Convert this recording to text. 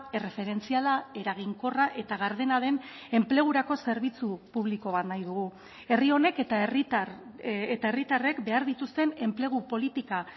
erreferentziala eraginkorra eta gardena den enplegurako zerbitzu publiko bat nahi dugu herri honek eta herritar eta herritarrek behar dituzten enplegu politika